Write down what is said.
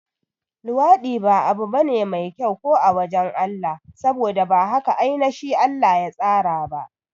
Luwaɗi ba abu bane mai kyau ko a wajan Allah, saboda ba haka ainashi Allah ya tsara ba